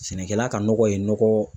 Sɛnɛkɛla ka nɔgɔ ye nɔgɔ